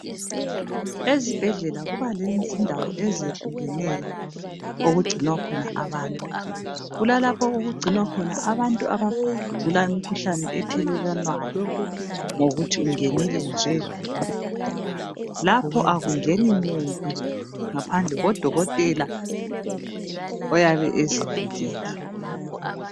ezibhedlela kuba lezindawo ezehlukeneyo okugcinwa khona abantu kulalapho okugcinwa khona abantu abagula imikhuhlane ethelelwanayo ngokuthi ungenile nje lapha akungeni muntu ngaphandle kukadokotela oyabe ezivikele